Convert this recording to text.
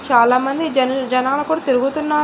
చాలామంది జనల్ జనాలు కూడా తిరుగుతున్నారు.